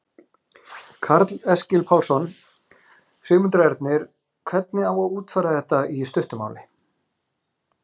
Karl Eskil Pálsson: Sigmundur Ernir, hvernig á að útfæra þetta í stuttu máli?